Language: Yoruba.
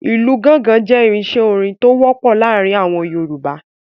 Ìlú gọ́ngọn jẹ́ irinṣẹ́ orin tó wọ́pọ̀ láàárin àwọn Yorùbá.